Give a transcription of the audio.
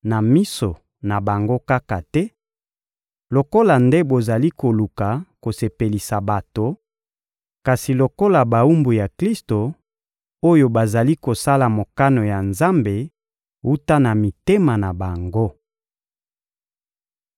na miso na bango kaka te, lokola nde bozali koluka kosepelisa bato, kasi lokola bawumbu ya Klisto, oyo bazali kosala mokano ya Nzambe wuta na mitema na bango.